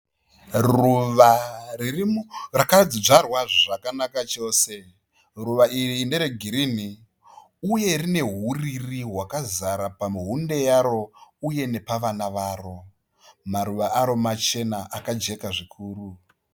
Ruva ririmu rakadzvarwa zvakanaka chose. Ruva iri nderegirini uye rine huriri hwakazara pamuhunde yaro uye nepavana varo. Maruva aro machena akajeka zvikuru.